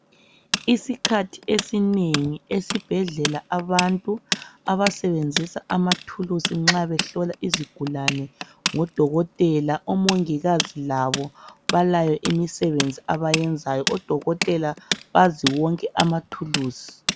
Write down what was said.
Isikhathi esinengi esibhedlela abantu abasebenzisa amathulusi nxa behlola izigulane ngoDokotela, omongikazi labo balayo imisebenzi abayenzayo oDokotela bazi wonke amathulusi.